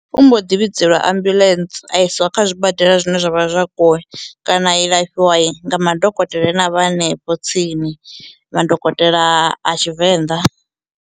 U mbo ḓi vhidzelwa ambuḽentse a isiwa kha zwibadela zwine zwavha zwa kuwe kana a ilafhiwa nga madokotela ane a vha hanefho tsini madokotela a a tshivenḓa.